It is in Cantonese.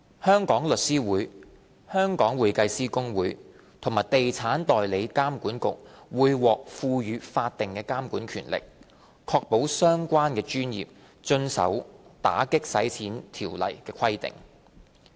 香港律師會、香港會計師公會和地產代理監管局會獲賦予法定監察權力，確保相關專業遵守《條例》的規定。